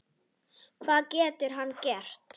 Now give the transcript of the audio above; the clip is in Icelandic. Hvað getur hann gert?